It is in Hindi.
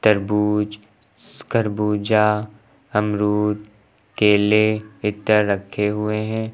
तरबूज श्श खरबूजा अमरुद केले इत्या रखे हुए हैं।